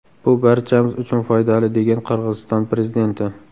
Bu barchamiz uchun foydali”, degan Qirg‘iziston prezidenti.